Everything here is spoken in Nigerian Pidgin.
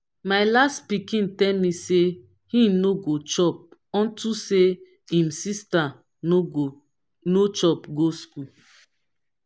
my last pikin tell me say he no go chop unto say im sister no chop go school